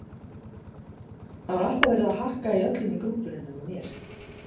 Það var alltaf verið að hakka í öllum í grúppunni nema mér.